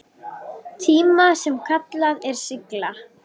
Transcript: tíma sem kallað er sigla.